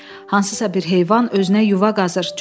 Hansısa bir heyvan özünə yuva qazır.